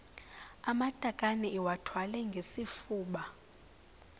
amatakane iwathwale ngesifuba